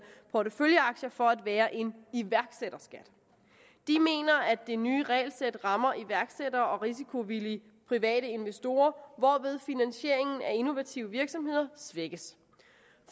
porteføljeaktier for at være en iværksætterskat de mener at det nye regelsæt rammer iværksættere og risikovillige private investorer hvorved finansieringen af innovative virksomheder svækkes